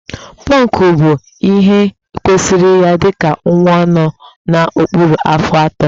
Pọnkụ bụ ihe kwesịịrị ya dịka nwa nọ n'okpuru afọ atọ